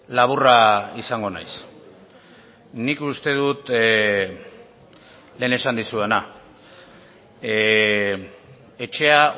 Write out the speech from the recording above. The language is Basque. laburra izango naiz nik uste dut lehen esan dizudana etxea